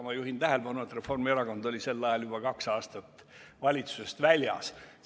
Ma juhin tähelepanu, et Reformierakond oli sel ajal juba kaks aastat valitsusest väljas olnud.